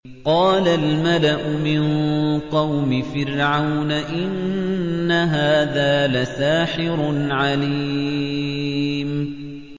قَالَ الْمَلَأُ مِن قَوْمِ فِرْعَوْنَ إِنَّ هَٰذَا لَسَاحِرٌ عَلِيمٌ